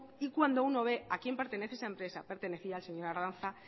y cuando uno ve a quién pertenece esa empresa pertenecía al señor ardanza